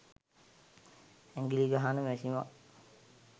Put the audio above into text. ඇඟිලි ගහන මැෂිමක්